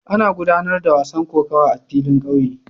Ana gudanar da gasar kokawa a filin kauye